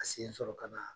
A sen sɔrɔ ka na